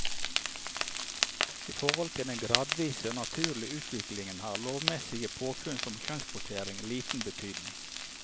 I forhold til denne gradvise og naturlige utvikling har lovmessige påfunn som kjønnskvotering liten betydning.